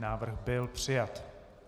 Návrh byl přijat.